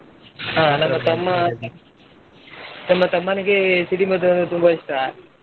ಹ ನನ್ನ ನನ್ನ ತಮ್ಮನ್ಗೆ ಸಿಡಿಮದ್ದು ಅಂದ್ರೆ ತುಂಬ ಇಷ್ಟ.